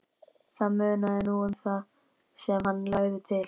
Það munaði nú um það sem hann lagði til.